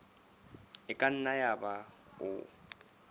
e ka nna yaba o